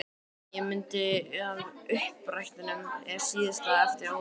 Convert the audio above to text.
Mynd af uppdrættinum er í síðasta hefti Óðins.